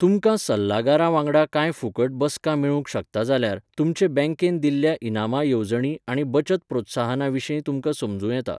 तुमकां सल्लागारा वांगडा कांय फुकट बसका मेळूंक शकतात जाल्यार, तुमचे बँकेन दिल्ल्या इनामां येवजणीं आनी बचत प्रोत्साहनां विशीं तुमकां समजूं येता.